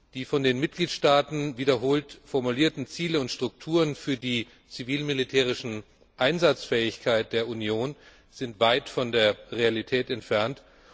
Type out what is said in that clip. Die von den Mitgliedstaaten wiederholt formulierten Ziele und Strukturen für die zivil militärischen Einsatzfähigkeiten der Union sind weit von der Realität entfernt.